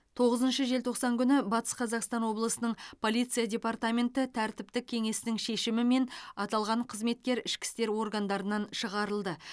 тоғызыншы желтоқсан күні батыс қазақстан облысы полиция департаменті тәртіптік кеңесінің шешімімен аталған қызметкер ішкі істер органдарынан шығарылды